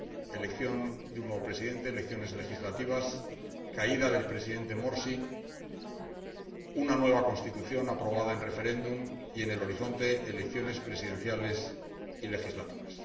elección de un nuevo presidente, elecciones legislativas, caída del Presidente Morsi, una nueva Constitución aprobada en referéndum y, en el horizonte, elecciones presidenciales y legislativas.